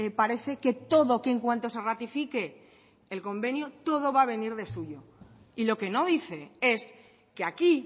parece que todo que en cuanto se ratifique el convenio todo va a venir de suyo y lo que no dice es que aquí